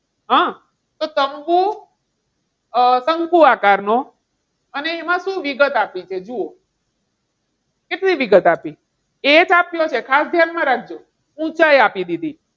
આહ તો શંકુ, શંકુ આકાર નો અને એમાં શું વિગત આપી છે જુઓ. કેટલી વિગત આપી છે? એજ આપ્યો છે ખાસ ધ્યાનમાં રાખજો. ઊંચાઈ આપી દીધી